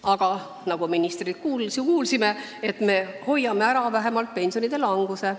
Aga nagu me ministrilt kuulsime, me hoiame ära vähemalt pensionide languse.